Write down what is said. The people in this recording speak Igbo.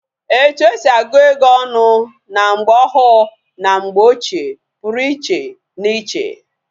Etu esi agu ego onu na mgbe ohu na mgbe ochie Puru iche na iche